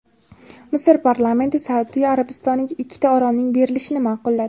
Misr parlamenti Saudiya Arabistoniga ikkita orolning berilishini ma’qulladi.